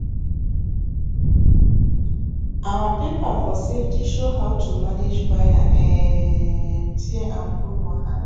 our paper for safety show how to manage fire um tear and bone wahala